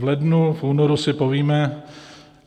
V lednu, v únoru si povíme.